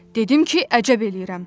Dedim ki, əcəb eləyirəm.